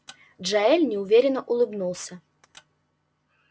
джаэль неуверенно улыбнулся